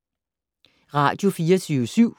Radio24syv